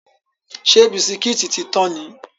Ṣé bisikítì tí tán ni?